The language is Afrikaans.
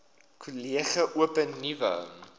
kollege open nuwe